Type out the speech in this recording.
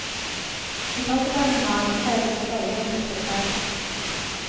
I toppetasjen har han innredet en leilighet til seg selv.